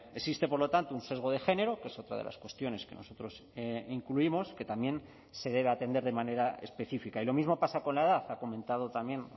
existe por lo tanto un sesgo de género que es otra de las cuestiones que nosotros incluimos que también se debe atender de manera específica y lo mismo pasa con la edad ha comentado también